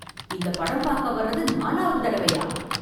இந்த படம் பாக்க வர்றது நாலாவது தடவையா?